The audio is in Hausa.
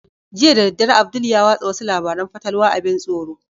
Jiya da daddare abdul ya watsa wasu labaran fatalwa abin tsoro